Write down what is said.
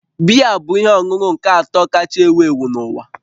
Biya bụ ihe ọṅụṅụ nke atọ kacha ewu ewu n'uwa